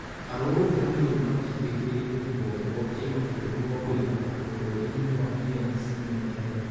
Arũrũngani rĩu matindĩkĩrĩirie rũhonge rwa kĩmabũrũri rwa kũiga thayũ bũrũri-inĩ wa DRC mehere